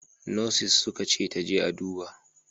Nurses suka ce ta je a duba!